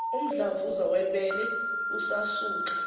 umdlavuza webele usasuka